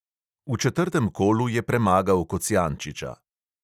V četrtem kolu je premagal kocijančiča.